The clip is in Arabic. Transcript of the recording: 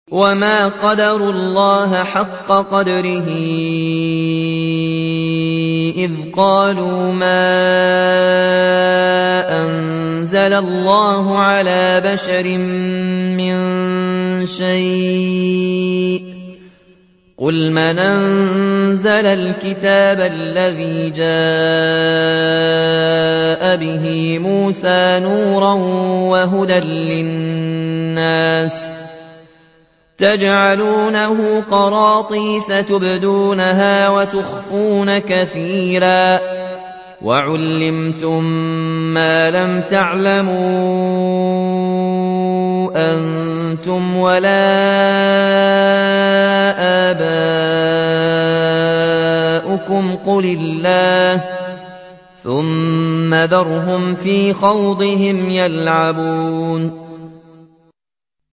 وَمَا قَدَرُوا اللَّهَ حَقَّ قَدْرِهِ إِذْ قَالُوا مَا أَنزَلَ اللَّهُ عَلَىٰ بَشَرٍ مِّن شَيْءٍ ۗ قُلْ مَنْ أَنزَلَ الْكِتَابَ الَّذِي جَاءَ بِهِ مُوسَىٰ نُورًا وَهُدًى لِّلنَّاسِ ۖ تَجْعَلُونَهُ قَرَاطِيسَ تُبْدُونَهَا وَتُخْفُونَ كَثِيرًا ۖ وَعُلِّمْتُم مَّا لَمْ تَعْلَمُوا أَنتُمْ وَلَا آبَاؤُكُمْ ۖ قُلِ اللَّهُ ۖ ثُمَّ ذَرْهُمْ فِي خَوْضِهِمْ يَلْعَبُونَ